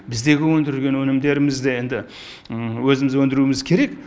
біздегі өндірген өнімдерімізді енді өзіміз өндіруіміз керек